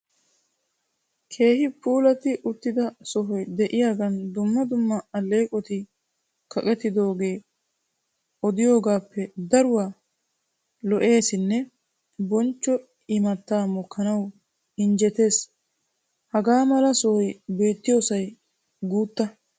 Keehi puulatti uttida sohoy de'iyagan dumma dumma alleeqoti kaqettidogee odiyogaappe daruwa lo'eesinne bonchcho imattaa mokkanawu injjetees. Hagaa mala sohoy beetiyosay guutta.